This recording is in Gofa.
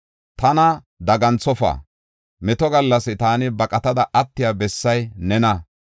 Tana daganthofa; meto gallas taani baqatada attiya bessay nena.